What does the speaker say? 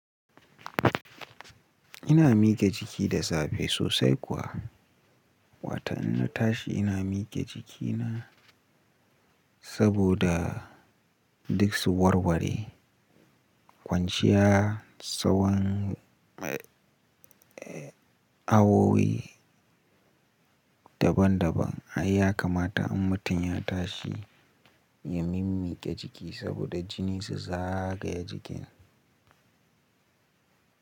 Ina mike jiki da safe sosai kuwa. Watan inna tashi ina miƙe jikina saboda duk su warware. Kwanciya tsawan, eh, awowi daban daban. Ai ya kamata in mutum ya tashi ya mimmiƙe jiki saboda jini su zagaya jikin.